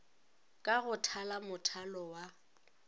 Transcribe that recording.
ka go thala mothalo wa